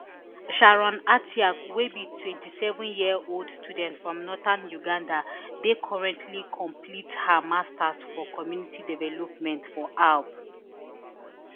sharon atyang wey be twenty-sevenyearold student from northern uganda dey currently complete her masters for community development for aub